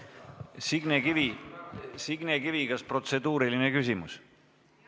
Signe Kivi, kas teil on protseduuriline küsimus?